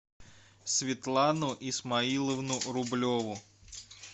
светлану исмаиловну рублеву